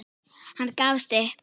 Hann gafst upp.